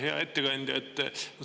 Hea ettekandja!